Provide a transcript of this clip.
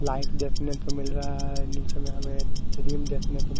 light देखने को मिल रहा है निचे में हमे सिडिल देखने को--